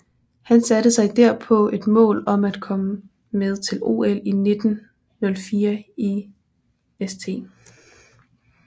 Han satte sig derpå et mål om at komme med til OL 1904 i St